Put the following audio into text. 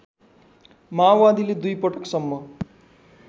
माओवादीले दुईपटकसम्म